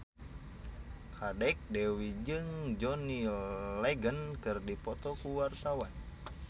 Kadek Devi jeung John Legend keur dipoto ku wartawan